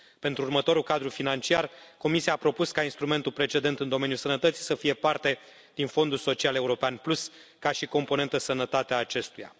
Pentru următorul cadru financiar, Comisia a propus ca instrumentul precedent în domeniul sănătății să fie parte din Fondul social european Plus, ca și componentă sănătate a acestuia.